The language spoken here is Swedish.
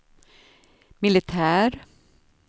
militär